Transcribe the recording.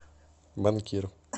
банкир